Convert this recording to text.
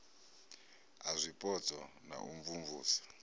a zwipotso na u imvumvusa